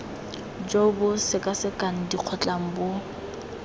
jo bo sekasekang dikgotlang bo